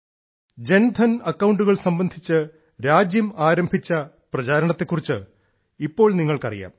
ജൻധൻ അക്കൌണ്ടുകൾ സംബന്ധിച്ച് രാജ്യം ആരംഭിച്ച പ്രചാരണത്തെ കുറിച്ച് ഇപ്പോൾ നിങ്ങൾക്കറിയാം